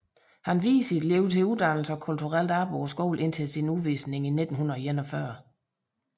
Han viede sit liv til uddannelse og kulturelt arbejde på skolen indtil sin udvisning i 1941